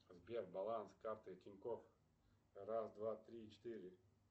сбер баланс карты тинькофф раз два три четыре